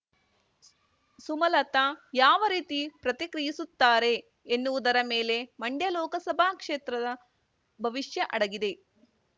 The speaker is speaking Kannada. ಸುಮಲತಾ ಯಾವ ರೀತಿ ಪ್ರತಿಕ್ರಿಯಿಸುತ್ತಾರೆ ಎನ್ನುವುದರ ಮೇಲೆ ಮಂಡ್ಯ ಲೋಕಸಭಾ ಕ್ಷೇತ್ರದ ಭವಿಷ್ಯ ಅಡಗಿದೆ